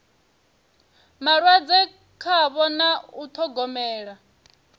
malwadze khavho na u ṱhogomela